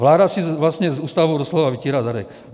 Vláda si vlastně s Ústavou doslova vytírá zadek.